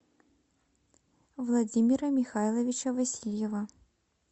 владимира михайловича васильева